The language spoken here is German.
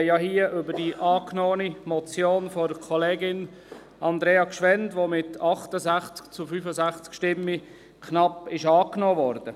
Wir sprechen hier über die angenommene Motion von Grossrätin Gschwend, welche mit 68 zu 65 Stimmen knapp angenommen wurde.